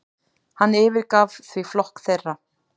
Hann yfirgaf því flokk þeirra.